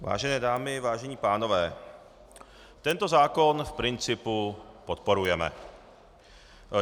Vážené dámy, vážení pánové, tento zákon v principu podporujeme.